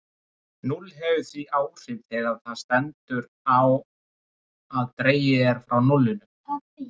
Núll hefur því áhrif þegar svo stendur á að dregið er frá núllinu.